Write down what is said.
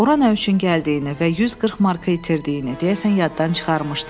Ora nə üçün gəldiyini və 140 marka itirdiyini deyəsən yaddan çıxarmışdı.